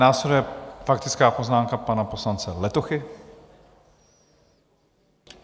Následuje faktická poznámka pana poslance Letochy.